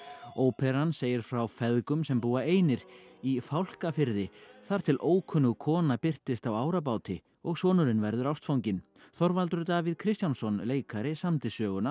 óperan segir frá feðgum sem búa einir í Fálkafirði þar til ókunnug kona birtist á árabáti og sonurinn verður ástfanginn Þorvaldur Davíð Kristjánsson leikari samdi söguna